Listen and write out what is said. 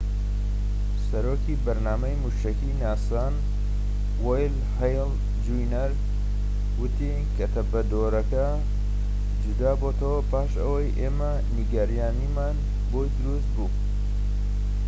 سەرۆکی بەرنامەی موشەکیی ناسا ن وەین هەیڵ جونیەر وتی کە تەپەدۆرەکە جودابۆتەوە پاش ئەوەی ئێمە نیگەرانیمان بۆی دروست بوو